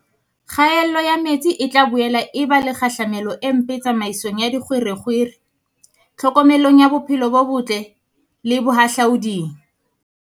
Kgaello ya metsi e tla boela e ba le kgahlamelo e mpe tsamaisong ya dikgwerekgwere, tlhokomelong ya bophelo bo botle le bohahlaoding.